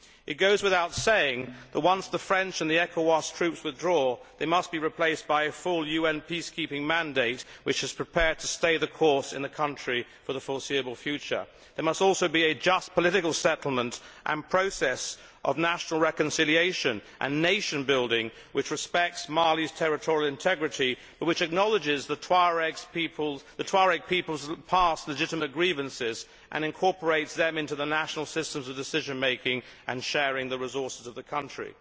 It goes without saying that once the French and the Ecowas troops withdraw, they must be replaced by a full UN peacekeeping mandate which is prepared to stay the course in the country for the foreseeable future. There must also be a just political settlement and process of national reconciliation and nation building which respects Mali's territorial integrity but which acknowledges the Tuareg people's past legitimate grievances and incorporates them into the national systems of decision making and sharing the resources of the country.